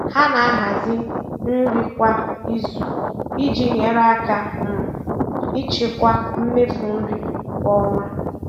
Ha na-ahazi nri kwa izu iji nyere aka um ịchịkwa mmefu nri kwa ọnwa.